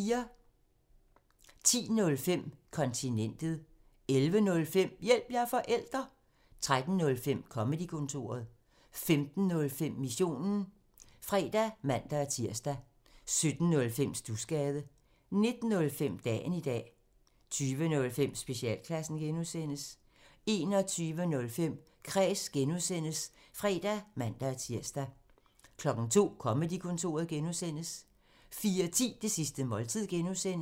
10:05: Kontinentet 11:05: Hjælp – jeg er forælder! 13:05: Comedy-kontoret 15:05: Missionen (fre og man-tir) 17:05: Studsgade 19:05: Dagen i dag 20:05: Specialklassen (G) 21:05: Kræs (G) (fre og man-tir) 02:00: Comedy-Kontoret (G) 04:10: Det sidste måltid (G)